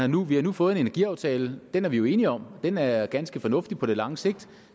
nu har fået en energiaftale den er vi jo enige om og den er ganske fornuftig på lang sigt